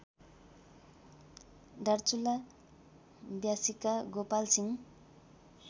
Darchula व्यासीका Gopalsingh